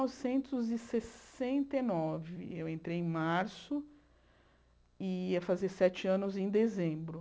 Mil novecentos e sessenta e nove Eu entrei em março e ia fazer sete anos em dezembro.